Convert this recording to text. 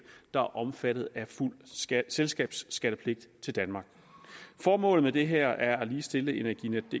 der er omfattet af fuld selskabsskattepligt til danmark formålet med det her er at ligestille energinetdk